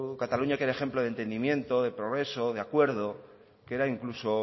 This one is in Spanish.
cataluña que era ejemplo de entendimiento de progreso de acuerdo que era incluso